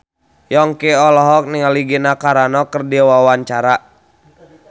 Yongki olohok ningali Gina Carano keur diwawancara